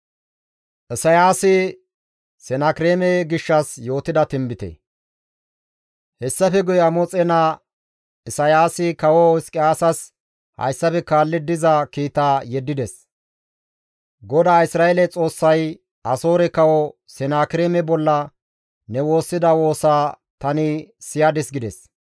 Hessafe guye Amoxe naa Isayaasi kawo Hizqiyaasas hayssafe kaalli diza kiitaa yeddides. «GODAA Isra7eele Xoossay, ‹Asoore kawo Senakireeme bolla ne woossida woosaa tani siyadis› gides.